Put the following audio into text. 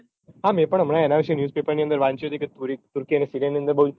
હા મેં પણ હમણાં એના વિશે news paper ની અંદર વાંચ્યું હતું કે turkey અને sirea ની અંદર બહુજ